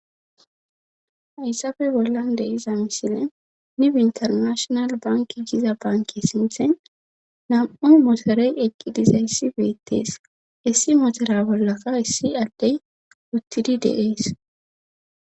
hayssafe bollan de iza misile nibi intarnashonal banki giza banki sinthen nam7oy motorey eqqidizayssi beettees issi motore bollaka issi addey uttidi deees